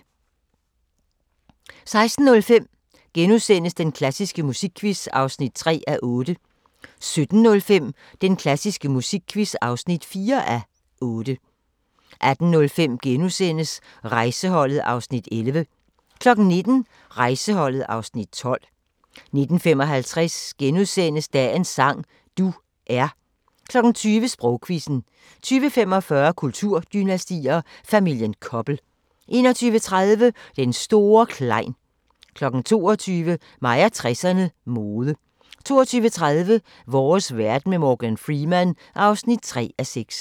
16:05: Den klassiske musikquiz (3:8)* 17:05: Den klassiske musikquiz (4:8) 18:05: Rejseholdet (Afs. 11)* 19:00: Rejseholdet (Afs. 12) 19:55: Dagens sang: Du er * 20:00: Sprogquizzen 20:45: Kulturdynastier: Familien Koppel 21:30: Den store Klein 22:00: Mig og 60'erne: Mode 22:30: Vores verden med Morgan Freeman (3:6)